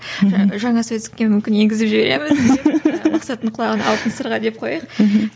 ы жаңа сөздікке мүмкін енгізіп жібереміз мақсаттың құлағына алтын сырға деп қояйық мхм